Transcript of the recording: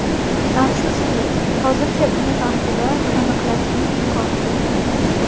Afsuski, hozircha buni vaqtida aniqlashning imkoni yo‘q.